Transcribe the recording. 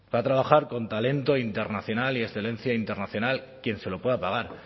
va a trabajar con talento internacional y excelencia internacional quien se lo pueda pagar